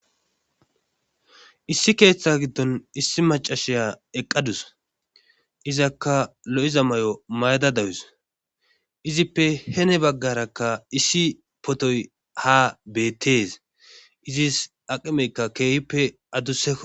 Issi keeththa giddon issi macashiya eqqadus izakka lo7iza mayo mayada dawus izippe hene baggarakka issi potoy haa beettees izis aqimeykka keehippe addusakko.